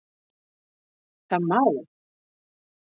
Það má